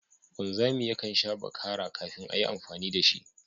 Wanzami yakan sha bakara kafin a yi amfani da shi